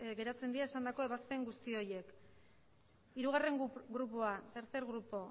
geratzen dira esandako ebazpen guzti horiek hirugarren grupoa tercer grupo